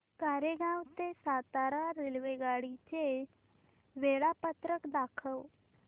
कोरेगाव ते सातारा रेल्वेगाडी चे वेळापत्रक दाखव